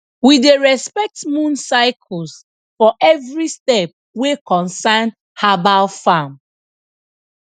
we dey respect moon cycles for every step wey concern herbal farm